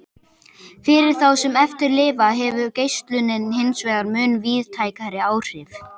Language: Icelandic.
Fyrir þá sem eftir lifa hefur geislunin hinsvegar mun víðtækari áhrif.